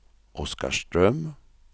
Oskarström